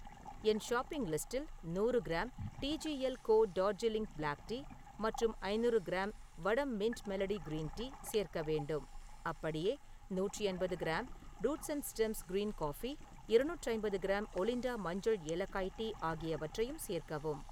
என் shopping லிஸ்டில் நூறு gram T G L co Darjeeling black tea மற்றும் ஐநூறு gram Vahdam mint melody green tea சேர்க்க வேண்டும். அப்படியே நூற்று எண்பது gram, roots and stems green coffee , இரநூற்று ஐம்பது கிராம் ஒலிண்டா மஞ்சள் ஏலக்காய் டீ ஆகியவற்றையும் சேர்க்கவும்.